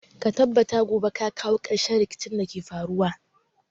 Ka tabbata gobe ka kawo ƙarshen rikicin da ke faruwa.